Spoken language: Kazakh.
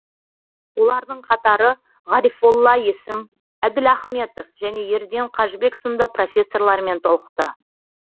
олардың қатары ғарифолла есім әділ ахметов және ерден қажыбек сынды профессорлармен толықты